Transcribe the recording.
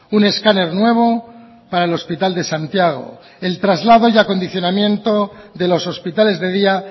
un escáner nuevo para el hospital de santiago el traslado y acondicionamiento de los hospitales de día